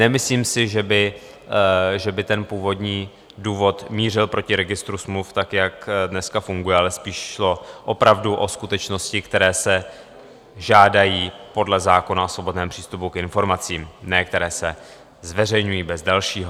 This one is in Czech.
Nemyslím si, že by ten původní důvod mířil proti registru smluv tak, jak dneska funguje, ale spíš šlo opravdu o skutečnosti, které se žádají podle zákona o svobodném přístupu k informacím, ne které se zveřejňují bez dalšího.